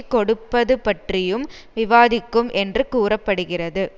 கொடுப்பதுபற்றியும் விவாதிக்கும் என்று கூற படுகிறது